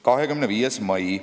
25. mai.